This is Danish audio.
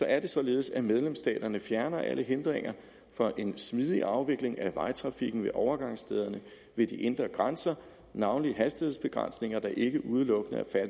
er det således at medlemsstaterne fjerner alle hindringer for en smidig afvikling af vejtrafikken ved overgangsstederne ved de indre grænser navnlig hastighedsbegrænsninger der ikke udelukkende er